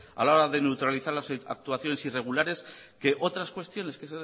a la hora de neutralizar las actuaciones irregulares que otras cuestiones que